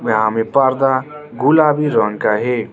यहां में पर्दा गुलाबी रंग का है।